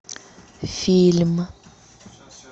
фильм